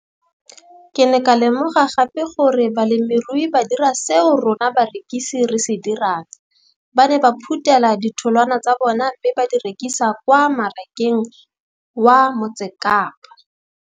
Ke ne ka lemoga gape gore balemirui ba dira seo rona barekisi re se dirang, ba ne ba phuthela ditholwana tsa bona mme ba di rekisa kwa marakeng wa Motsekapa.